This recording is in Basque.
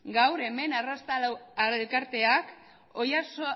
gaur hemen arraztalo elkarteak